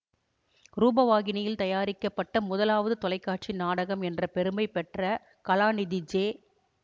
ரூபவாகினியில் தயாரிக்கப்பட்ட முதலாவது தொலைக்காட்சி நாடகம் என்ற பெருமையைப்பெற்ற கலாநிதி ஜே